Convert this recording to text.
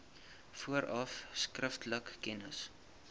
vooraf skriftelik kennis